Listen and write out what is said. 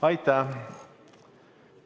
Aitäh!